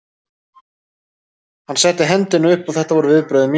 Hann setti hendina upp og þetta voru viðbrögð mín.